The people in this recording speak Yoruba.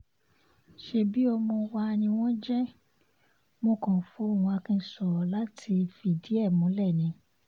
ṣebí ọmọ wa ni wọ́n jẹ́ mọ́ kàn fohùn akin sọ̀rọ̀ láti fìdí ẹ̀ múlẹ̀ ni